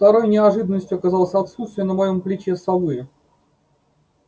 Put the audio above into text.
второй неожиданностью оказалось отсутствие на моём плече совы